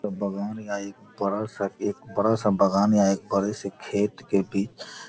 बागान है ये बड़ा सा एक बड़ा सा बागान है एक बड़े से खेत के बीच --